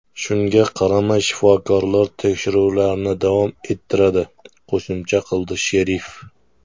Shunga qaramay, shifokorlar tekshiruvlarni davom ettiradi, qo‘shimcha qildi sherif.